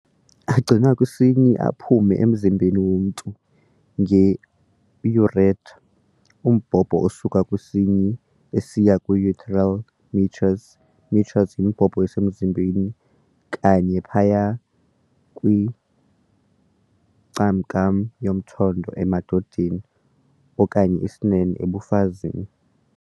Agcinwa kwisinyi aze aphume emzimbeni womntu ngeurethra, umbhobho osuka kwisinyi usiya kwi-urethral meatus, meatus imbobo esemzimbeni, kanye phaya kwincakam yomthondo, emadodeni, okanye isinene, ebafazini.